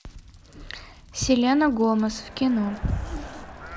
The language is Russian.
селена гомес в кино